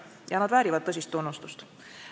Ja nad väärivad tõsist tunnustust.